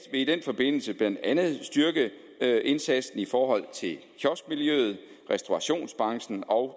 i den forbindelse blandt andet styrke indsatsen i forhold til kioskmiljøet restaurationsbranchen og